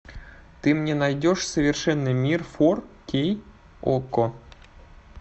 ты мне найдешь совершенный мир фор кей окко